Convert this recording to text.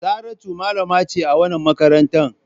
Saratu malama ce a wannan makaranta.